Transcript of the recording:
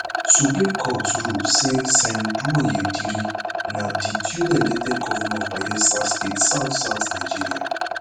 supreme court rule say sen douye diri na di duly elected govnor of bayelsa state southsouth nigeria